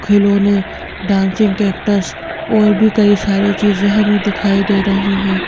खिलौने dancing cactus और भी कई सारी चीजें हमें दिखाई दे रही हैं।